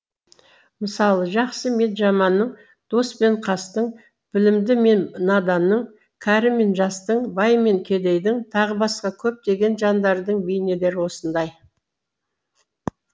мысалы жақсы мен жаманның дос пен қастың білімді мен наданның кәрі мен жастың бай мен кедейдің тағы басқа көптеген жандардың бейнелері осындай